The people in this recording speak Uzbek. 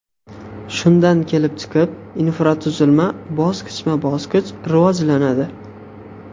Shundan kelib chiqib, infratuzilma bosqichma-bosqich rivojlanadi.